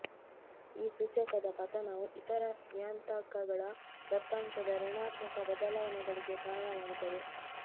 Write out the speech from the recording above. ಈ ಸೂಚಕದ ಪತನವು ಇತರ ನಿಯತಾಂಕಗಳ ದತ್ತಾಂಶದ ಋಣಾತ್ಮಕ ಬದಲಾವಣೆಗಳಿಗೆ ಕಾರಣವಾಗುತ್ತದೆ